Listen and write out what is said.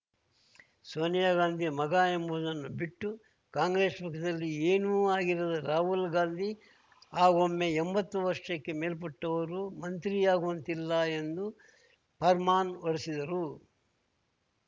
ಸೋನಿಯಾ ಗಾಂಧಿ ಮಗ ಎಂಬುದನ್ನು ಬಿಟ್ಟು ಕಾಂಗ್ರೆಸ್‌ ಪಕ್ಷದಲ್ಲಿ ಏನೂ ಆಗಿರದ ರಾಹುಲ್‌ ಗಾಂಧಿ ಆಗೊಮ್ಮೆ ಎಂಬತ್ತು ವರ್ಷಕ್ಕೆ ಮೇಲ್ಪಟ್ಟವರು ಮಂತ್ರಿಯಾಗುವಂತಿಲ್ಲ ಎಂದು ಫರ್ಮಾನ್ ಹೊರಡಿಸಿದರು